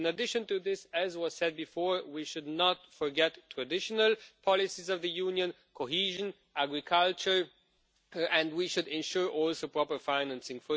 In addition, as was said before, we should not forget the traditional policies of the Union cohesion and agriculture and we should ensure proper financing.